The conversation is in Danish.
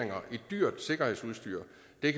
det